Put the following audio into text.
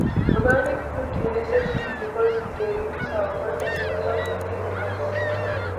organic food dey necessary because e dey reduce our contact with harmful chemicals